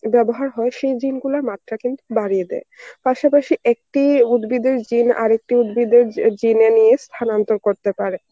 ব্যবহার হয় সেই gene গুলার মাত্রা কিন্তু বাড়িয়ে দেয়. পাশাপাশি একটি উদ্ভিদের gene আরেকটি উদ্ভিদে জি~ gene এ নিয়ে স্থানান্তর করতে পারে.